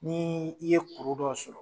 Ni i ye kuru dɔ sɔrɔ